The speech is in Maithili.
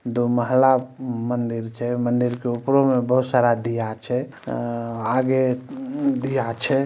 दो महिला मंदिर छे मन्दिर के उपरो मे बहुत सारा दिया छे उ-म्म-म् आगे दिया छे।